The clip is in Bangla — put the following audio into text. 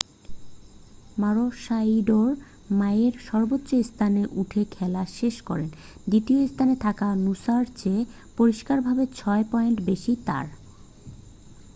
মারোশাইডোর মইয়ের সর্বোচ্চ স্থানে উঠে খেলা শেষ করেন দ্বিতীয় স্থানে থাকা নুসা'র চেয়ে পরিষ্কারভাবে ছয় পয়েন্ট বেশী তার